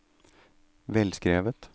velskrevet